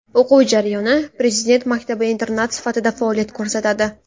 O‘quv jarayoni Prezident maktabi internat sifatida faoliyat ko‘rsatadi.